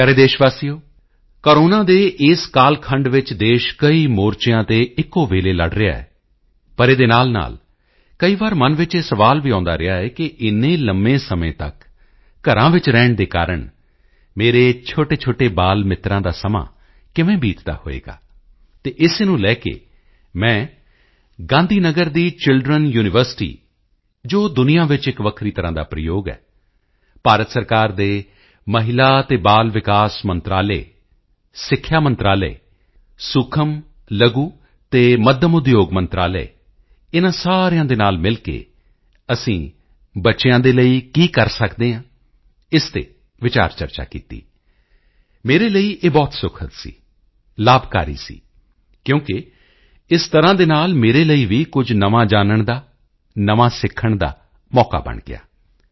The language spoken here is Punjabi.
ਮੇਰੇ ਪਿਆਰੇ ਦੇਸ਼ਵਾਸੀਓ ਕੋਰੋਨਾ ਦੇ ਇਸ ਕਾਲਖੰਡ ਵਿੱਚ ਦੇਸ਼ ਕਈ ਮੋਰਚਿਆਂ ਤੇ ਇੱਕੋ ਵੇਲੇ ਲੜ ਰਿਹਾ ਹੈ ਪਰ ਇਹਦੇ ਨਾਲਨਾਲ ਕਈ ਵਾਰ ਮਨ ਵਿੱਚ ਇਹ ਸਵਾਲ ਵੀ ਆਉਦਾ ਰਿਹਾ ਹੈ ਕਿ ਇੰਨੇ ਲੰਬੇ ਸਮੇਂ ਤੱਕ ਘਰਾਂ ਵਿੱਚ ਰਹਿਣ ਦੇ ਕਾਰਣ ਮੇਰੇ ਛੋਟੇਛੋਟੇ ਬਾਲਮਿੱਤਰਾਂ ਦਾ ਸਮਾਂ ਕਿਵੇਂ ਬੀਤਦਾ ਹੋਵੇਗਾ ਅਤੇ ਇਸੇ ਨੂੰ ਲੈ ਕੇ ਮੈਂ ਗਾਂਧੀ ਨਗਰ ਦੀ ਚਿਲਡਰੇਨ ਯੂਨੀਵਰਸਿਟੀ ਜੋ ਦੁਨੀਆਂ ਵਿੱਚ ਇੱਕ ਵੱਖਰੀ ਤਰ੍ਹਾਂ ਦਾ ਪ੍ਰਯੋਗ ਹੈ ਭਾਰਤ ਸਰਕਾਰ ਦੇ ਮਹਿਲਾ ਤੇ ਬਾਲ ਵਿਕਾਸ ਮੰਤਰਾਲੇ ਸਿੱਖਿਆ ਮੰਤਰਾਲੇ ਸੂਖਮ ਲਘੂ ਅਤੇ ਮੱਧਮ ਉਦਯੋਗ ਮੰਤਰਾਲੇ ਇਨ੍ਹਾਂ ਸਾਰਿਆਂ ਦੇ ਨਾਲ ਮਿਲ ਕੇ ਅਸੀਂ ਬੱਚਿਆਂ ਦੇ ਲਈ ਕੀ ਕਰ ਸਕਦੇ ਹਾਂ ਇਸ ਤੇ ਵਿਚਾਰਚਰਚਾ ਕੀਤੀ ਮੇਰੇ ਲਈ ਇਹ ਬਹੁਤ ਸੁਖਦ ਸੀ ਲਾਭਕਾਰੀ ਸੀ ਕਿਉਕਿ ਇਸ ਤਰ੍ਹਾਂ ਦੇ ਨਾਲ ਮੇਰੇ ਲਈ ਵੀ ਕੁਝ ਨਵਾਂ ਜਾਨਣ ਦਾ ਨਵਾਂ ਸਿੱਖਣ ਦਾ ਮੌਕਾ ਬਣ ਗਿਆ